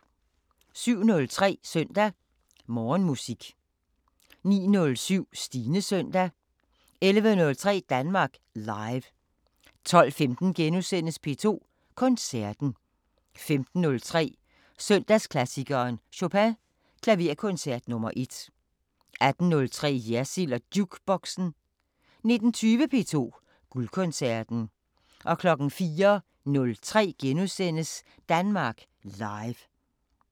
07:03: Søndag Morgenmusik 09:07: Stines Søndag 11:03: Danmark Live 12:15: P2 Koncerten * 15:03: Søndagsklassikeren- Chopin: Klaverkoncert nr. 1 18:03: Jersild & Jukeboxen 19:20: P2 Guldkoncerten 04:03: Danmark Live *